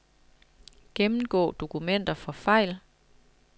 Gennemgå dokumenter for fejl.